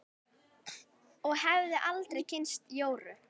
Og hefði aldrei kynnst Jóru.